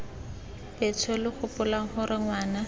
betsho lo gopoleng gore ngwana